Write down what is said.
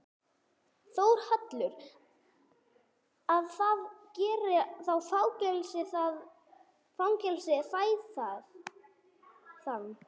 Þórhallur: Að það geti þá fengist fé þaðan?